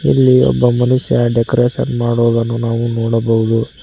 ಇಲ್ಲಿ ಒಬ್ಬ ಮನುಷ್ಯ ಡೆಕೋರೇಷನ್ ಮಾಡುವುದನ್ನು ನಾವು ನೋಡಬಹುದು.